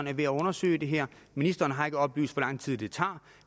er ved at undersøge det her ministeren har ikke oplyst hvor lang tid det tager